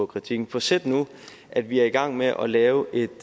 kritik for sæt nu at vi er i gang med at lave et